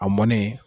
A mɔnnen